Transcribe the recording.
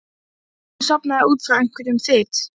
Jú, ég sofnaði út frá einhverjum þyt.